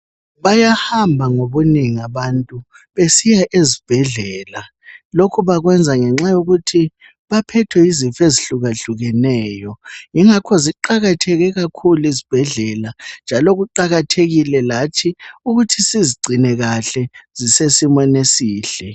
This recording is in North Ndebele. Bayahamba ngobunengi abantu, besiya ezibhedlela. Lokhu bakwenza ngenxa yokuthi baphethwe yizifo ezihlukahlukeneyo. Yingakho ziqakathekile kakhulu izibhedlela., njalo kuqakathekile lathi, ukuthi sizigcine kahle. Zisesimeni esihle.